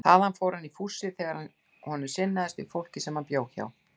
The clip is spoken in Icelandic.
Þaðan fór hann í fússi þegar honum sinnaðist við fólkið sem hann bjó hjá.